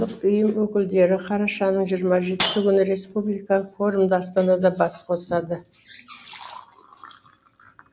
қоғамдық ұйым өкілдері қарашаның жиырма жетіншісі күні республикалық форумда астанада бас қосады